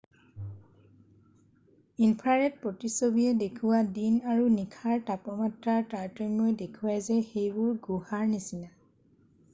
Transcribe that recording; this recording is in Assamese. ইনফ্ৰাৰেড প্ৰতিচ্ছবিয়ে দেখুওৱা দিন আৰু নিশাৰ তাপমাত্ৰাৰ তাৰতম্যই দেখুৱায় যে সেইবোৰ গুহাৰ নিচিনা